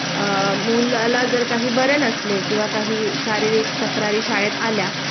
अ मुलाला जर काही बरे नसले किंवा काही शारीरिक तक्रारी शाळेत आल्या